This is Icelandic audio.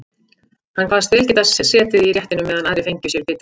Hann kvaðst vel geta setið í réttinum meðan aðrir fengju sér bita.